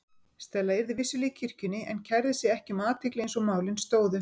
Stella yrði vissulega í kirkjunni en kærði sig ekki um athygli eins og málin stóðu.